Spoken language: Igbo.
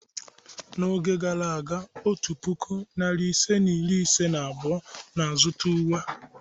N'oge gara aga, otu puku, narị ise na iri ise na abụọ na-azụta uwe.